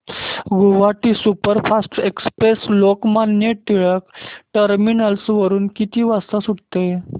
Godavari superfast express Lokmanya Tilak terminus वरून किती वाजता सुटते